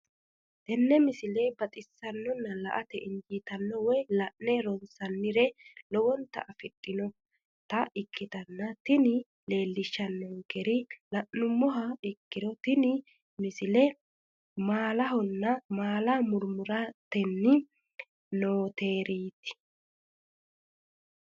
tenne misile baxisannonna la"ate injiitanno woy la'ne ronsannire lowote afidhinota ikkitanna tini leellishshannonkeri la'nummoha ikkiro tini misile maalahonna maala murmurtanni nooreeti.